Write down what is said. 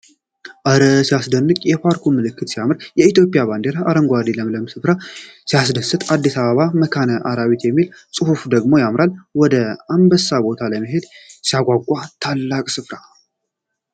እረ ሲያስደንቅ! የፓርኩ ምልክት ሲያምር! የኢትዮጵያ ባንዲራ አረንጓዴውና ለምለሙ ስፍራ ሲያስደስት! "አዲስ አበባ መካነ አራዊት" የሚለው ጽሑፍ ደግሞ ያምራል። ወደ አንበሳ ቦታ መሄድ ሲያስጓጓ! ታላቅ ስፍራ!